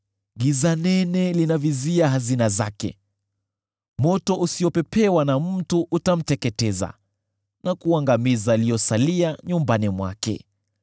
giza nene linavizia hazina zake. Moto usiopepewa na mtu utamteketeza, na kuangamiza yaliyosalia nyumbani mwake.